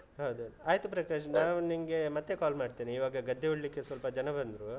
ಹೌದೌದು, ಆಯ್ತು ಪ್ರಕಾಶ್ ನಾನು ನಿಮ್ಗೆ ಮತ್ತೆ call ಮಾಡ್ತೇನೆ ಇವಾಗ ಗದ್ದೆ ಉಳ್ಳಿಕ್ಕೆ ಸ್ವಲ್ಪ ಜನ ಬಂದ್ರು.